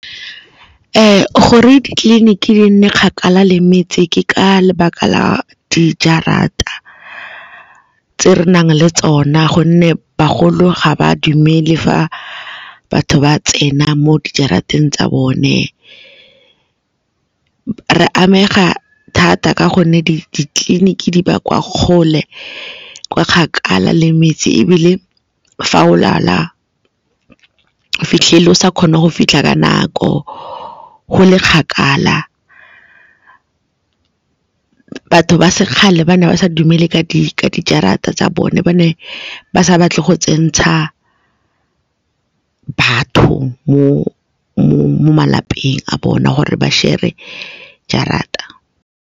Gore ditleliniki di nne kgakala le metse ke ka lebaka la dijarata tse re nang le tsona gonne bagolo ga ba dumele fa batho ba tsena mo di jarateng tsa bone. Re amega thata ka gonne ditleliniki di ba kwa kgole kwa kgakala le metse ebile fa o lwala fitlhele o sa kgone go fitlha ka nako, go le kgakala, batho ba sekgale ba ne ba sa dumele ka dijarata tsa bone, ba ne ba sa batle go tsena batho mo malapeng a bona gore ba shebe jarata.